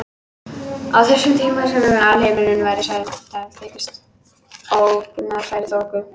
Á þessum tíma var sem alheimurinn væri sveipaður þykkri ógagnsærri þoku.